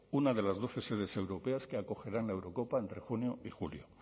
una de las doce sedes europeas que acogerán la eurocopa entre junio y julio